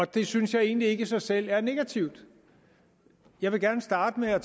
det synes jeg egentlig ikke i sig selv er negativt jeg vil gerne starte med at